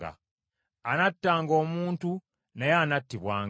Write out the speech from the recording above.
“Anattanga omuntu naye anattibwanga.